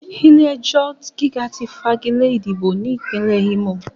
Ilé-ẹjọ̀ gíga ti fagilé ìdìbò ní Ìpínlẹ̀ Ímò